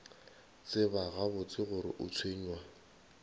tseba gabotse gore o tshwenywa